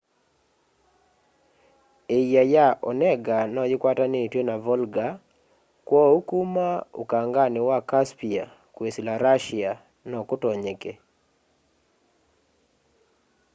iia ya onega no yikwatanitw'e na volga kwoou kuma ukangani wa caspia kwisila russia no kutonyeke